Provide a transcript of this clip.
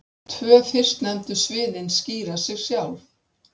Tvö fyrstnefndu sviðin skýra sig sjálf.